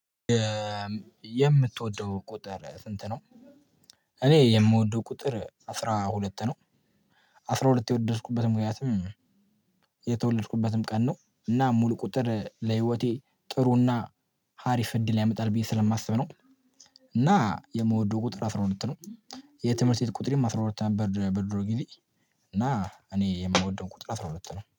የምትወደው ቁጥር ስንት ነው? እኔ የምወደው ቁጥር አስራ ሁለት ነው። አስራ ሁለት የወደድኩበትም ምክንያትም። የተወለድኩበትም ቀን ነው እና ሙሉ ቁጥር ለህይወቴ ጥሩና ሀሪፍ እድል ያመጣል ብዬ ስለማስብ ነው። እና የምወደው ቁጥር አስራ ሁለት ነው። የትምህርት ቤት ቁጥሬም አስራ ሁለት ነበር በድሮ ጊዜ። እና እኔ የምወደው ቁጥር አስራ ሁለት ነው